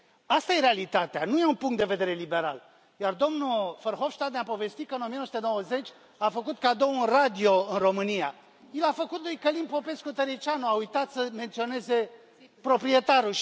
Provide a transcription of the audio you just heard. Asta e realitatea, nu e un punct de vedere liberal. Iar domnul Verhofstadt ne a povestit că în 1990 a făcut cadou un radio în România i l a făcut lui Călin Popescu Tăriceanu, a uitat să menționeze proprietarul.